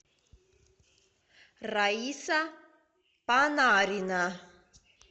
раиса панарина